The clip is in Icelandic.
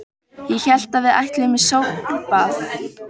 Ég hélt að við ætluðum í sólbað!